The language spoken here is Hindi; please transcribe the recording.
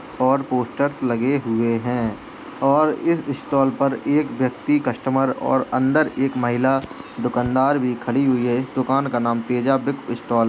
और पोस्टर्स लगे हुए हैं और इस स्टाल पर एक व्यक्ति कस्टमर और अंदर एक महिला दुकानदार भी खड़ी हुई है। इस दुकान का नाम तेजा बुक स्टाल --